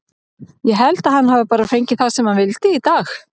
Ég held að hann hafi bara fengið það sem hann vildi í dag.